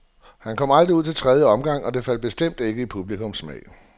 Han kom aldrig ud til den tredje omgang, og det faldt bestemt ikke i publikums smag.